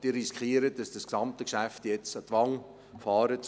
Sie riskieren, dass Sie das gesamte Geschäft jetzt an die Wand fahren.